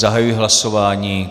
Zahajuji hlasování.